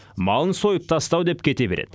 малын сойып тастау деп кете береді